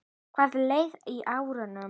Hvað lærði ég á árinu?